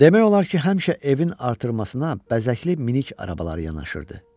Demək olar ki, həmişə evin artırmasına bəzəkli minik arabaları yanaşırdı.